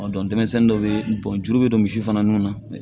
denmisɛnnin dɔw bɛ bɔn juru bɛ don misi fana nun na